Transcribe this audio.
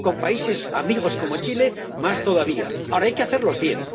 con países amigos como Chile, más todavía. Ahora, hay que hacerlos bien.